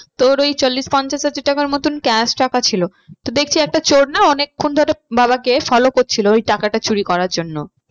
তোর ওই চল্লিশ পঞ্চাশ হাজার টাকার মতন cash টাকা ছিল। তো দেখছে একটা চোর না অনেকক্ষণ ধরে বাবাকে follow করছিলো ওই টাকাটা চুরি করার জন্য।